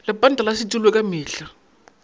lepanta la setulo ka mehla